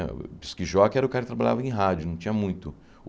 O era o cara que trabalhava em rádio, não tinha muito.